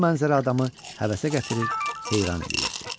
Bu mənzərə adamı həvəsə gətirir, heyran eləyirdi.